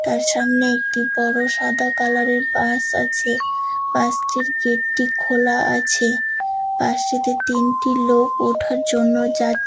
তার সামনে একটি বড় সাদা কালার এর বাস আছে । বাস টির গেট টি খোলা আছে। বাস টিতে তিনটি লোক ওঠার জন্য যা--